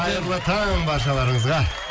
қайырлы таң баршаларыңызға